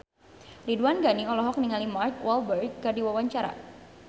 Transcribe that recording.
Ridwan Ghani olohok ningali Mark Walberg keur diwawancara